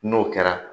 N'o kɛra